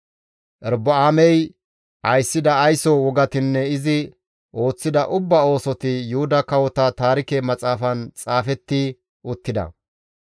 Erobi7aamey ayssida ayso wogatinne izi ooththida ubbaa oosoti Yuhuda Kawota Taarike Maxaafan xaafetti uttida.